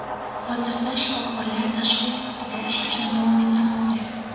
Hozirda shifokorlar tashxis ustida ishlashni davom ettirmoqda.